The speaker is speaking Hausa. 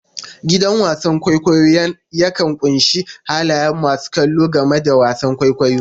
Gidan wasan kwaikwayo yakan ƙunshi halayen masu kallo game da wasan kwaikwayon.